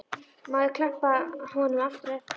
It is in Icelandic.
Má ég þá klappa honum aftur á eftir?